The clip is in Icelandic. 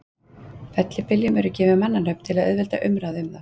Fellibyljum eru gefin mannanöfn til að auðvelda umræðu um þá.